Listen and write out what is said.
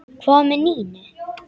Hvað með Nínu?